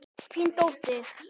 Þín dóttir.